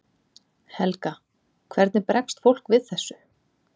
Helga: Hvernig bregst fólk við þessu?